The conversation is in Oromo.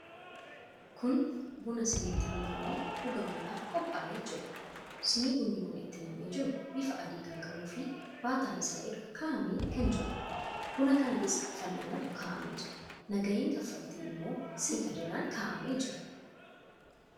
Kun buna siniitti buufamee dhugamuudhaaf qophee'ee jiruudha. Sinii bunni kun itti nam'ee jiru bifa adii kan qabuufi baataa isaa irra kaa'amee kan jiruudha. Buna kana keessa fal'aanatu kaa'amee jira. Nagaheen kaffaltii immoo sinii kana jala kaa'amee jira.